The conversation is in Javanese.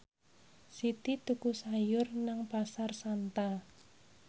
Siti tuku sayur nang Pasar Santa